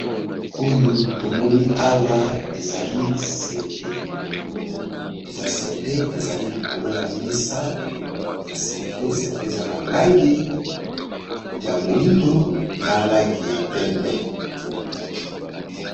Oyo tomoni awa ezali cynte, eza cynte ezali likolo ya mesa ya cynte. Cynte eza na langi ya moyindo, na langi ya pembe.